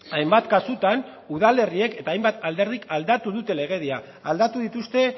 hainbat kasutan udalerriek eta hainbat alderdik aldatu dute legedia aldatu dituzte